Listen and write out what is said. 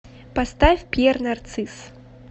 поставь пьер нарцисс